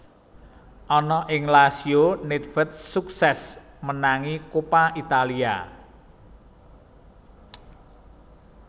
Ana ing Lazio nèdvèd suksès menangi Coppa Italia